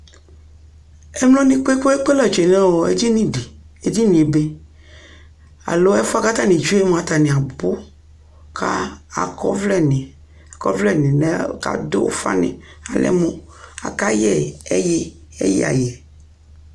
ɛmlɔ ni kpekpekpe la twɛnʋ ɛdinidi, ɛdiniɛ ɛbɛ, alɔ ɛƒʋɛ kʋ atani twɛ mʋa atani abʋ ka akɔ ɔvlɛ ni kʋ adʋ ʋƒa ni alɛmʋ aka yɛ ɛyi, ɛyi ayɛ